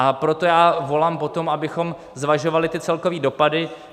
A proto já volám po tom, abychom zvažovali celkové dopady.